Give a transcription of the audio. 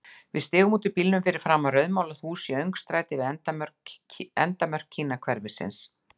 Við stigum út úr bílnum fyrir framan rauðmálað hús í öngstræti við endamörk Kínahverfisins.